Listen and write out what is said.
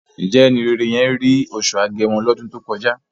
Ǹjẹ́ ẹni rere yẹn rí oṣù Agẹmọ lọ́dún tó kọjá?